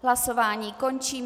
Hlasování končím.